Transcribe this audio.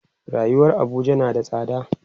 rayuwar Abuja na da tsada